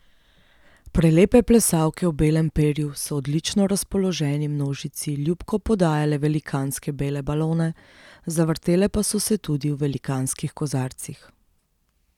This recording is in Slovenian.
Prelepe plesalke v belem perju so odlično razpoloženi množici ljubko podajale velikanske bele balone, zavrtele pa so se tudi v velikanskih kozarcih.